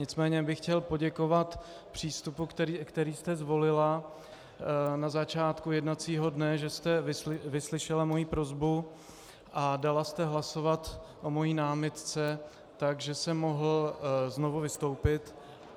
Nicméně bych chtěl poděkovat přístupu, který jste zvolila na začátku jednacího dne, že jste vyslyšela moji prosbu a dala jste hlasovat o mojí námitce, takže jsem mohl znovu vystoupit.